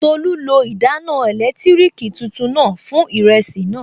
Tolú lo ìdáná ẹ̀lẹ́tírìkì tuntun náà fún ìrẹsì náà